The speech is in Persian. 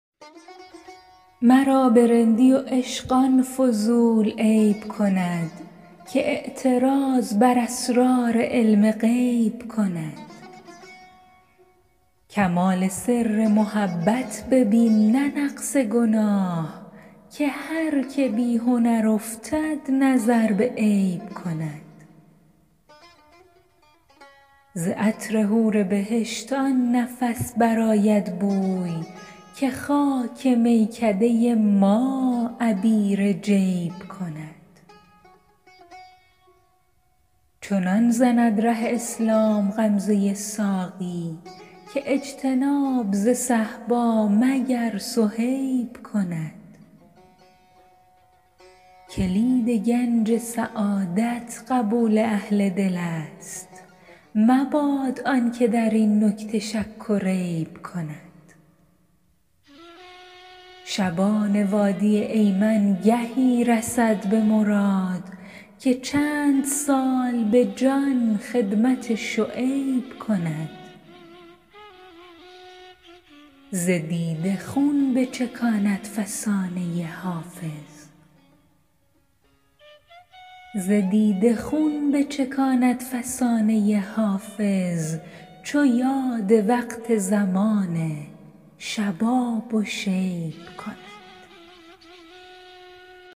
مرا به رندی و عشق آن فضول عیب کند که اعتراض بر اسرار علم غیب کند کمال سر محبت ببین نه نقص گناه که هر که بی هنر افتد نظر به عیب کند ز عطر حور بهشت آن نفس برآید بوی که خاک میکده ما عبیر جیب کند چنان زند ره اسلام غمزه ساقی که اجتناب ز صهبا مگر صهیب کند کلید گنج سعادت قبول اهل دل است مباد آن که در این نکته شک و ریب کند شبان وادی ایمن گهی رسد به مراد که چند سال به جان خدمت شعیب کند ز دیده خون بچکاند فسانه حافظ چو یاد وقت زمان شباب و شیب کند